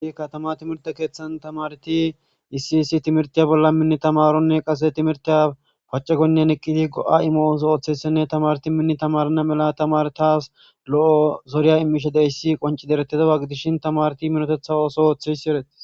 i katama timirte keeththan tamarti isiyissi timirtiya bolla minni tamaronne qase timirtiya pace goynnen eqqidi go7a imooso ooththeyssenne tamarti minni tamarana mela tamar taas lo7o zoriya imishe deyssi qonci derettedawa gidishin tamarti minotetha oso ooththesi ereti